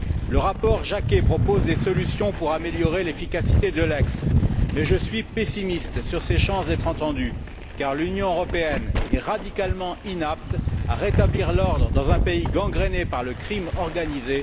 Le rapport Jacquet propose des solutions pour améliorer l'efficacité d'Eulex, mais je suis pessimiste sur ses chances d'être entendu, car l'Union européenne est radicalement inapte à rétablir l'ordre dans un pays à ce point gangréné par la criminalité organisée.